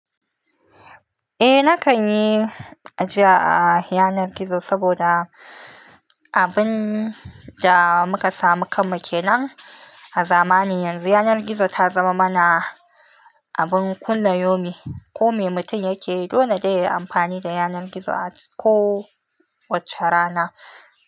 Eh nakan yi ajiya a yanar gizo saboda abun da muka samu kan muke nan a zamani. Yanzu yanar gizo ta zama mana abun kullayomi. Ko me mutum yake yi, dole dai yayi amfani da yanar gizo a kowacce rana.